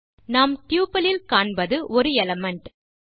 நாம் டப்பிள் இல் காண்பது 1 எலிமெண்ட்